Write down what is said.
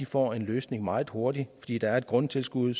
får en løsning meget hurtigt fordi der er et grundtilskud